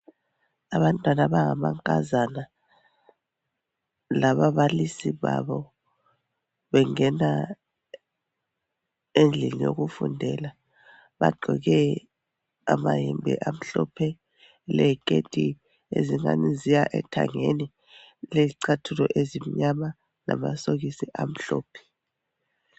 Abantwana abangamankazana lababalisi babo, bengena endlini yokufundela. Bagqoke amayembe amhlophe, leziketi ezingani ziya ethangeni, lezicathulo ezimnyama, lamasokisi amhlophe.